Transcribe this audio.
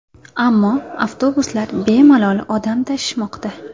Ammo avtobuslar bemalol odam tashimoqda.